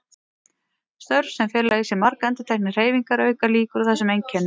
Störf sem fela í sér margendurteknar hreyfingar auka líkur á þessum einkennum.